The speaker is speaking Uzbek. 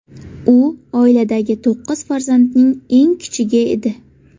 U oiladagi to‘qqiz farzandning eng kichigi edi.